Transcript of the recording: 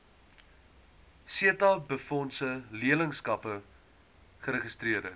setabefondse leerlingskappe geregistreer